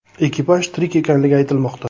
Ekipaj tirik ekanligi aytilmoqda.